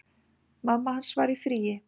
Mamma hans var í fríi.